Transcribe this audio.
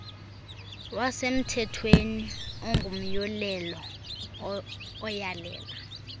wasemthethweni ongumyolelo oyalela